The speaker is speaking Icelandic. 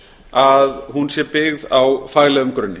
að hún sé byggð á faglegum grunni